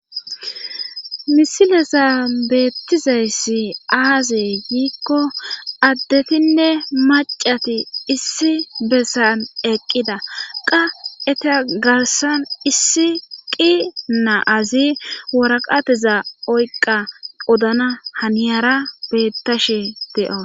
Misileza beettizayssi aazee giikko addetinne macati issi bessan eqqida qa etagarsan issi qi na'azi waraqateza oyqa odana haniyara beettashe de'o